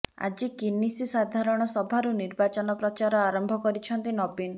ଆଜି କନିଷି ସାଧାରଣ ସଭାରୁ ନିର୍ବାଚନ ପ୍ରଚାର ଆରମ୍ଭ କରିଛନ୍ତି ନବୀନ